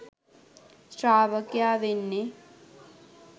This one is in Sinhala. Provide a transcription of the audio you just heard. ශ්‍රාවකයා වෙන්නෙ.